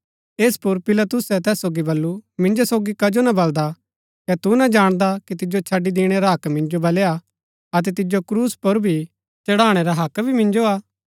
ऐस पुर पिलातुसै तैस सोगी बल्लू मिन्जो सोगी कजो ना बलदा कै तू ना जाणदा कि तिजो छड़ी दिणै रा हक्क मिन्जो बलै हा अतै तिजो क्रूस पुर भी चढ़ाणै रा हक्क भी मिन्जो हा